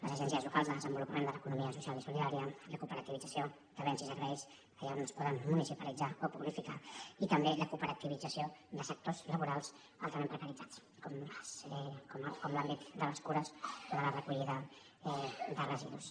les agències locals de desenvolupament de l’economia social i solidària la cooperativització de béns i serveis allà on es poden municipalitzar o publificar i també la cooperativització de sectors laborals altament precaritzats com l’àmbit de les cures de la recollida de residus